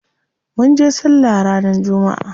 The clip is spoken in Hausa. Munje sallah ranar jumma'a.